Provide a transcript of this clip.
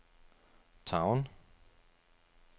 Town